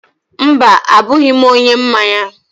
Mba, abụghị m onye mmanya